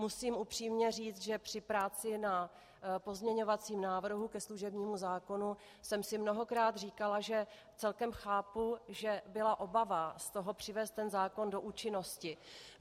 Musím upřímně říct, že při práci na pozměňovacím návrhu ke služebnímu zákonu jsem si mnohokrát říkala, že celkem chápu, že byla obava z toho, přivést ten zákon do účinnosti.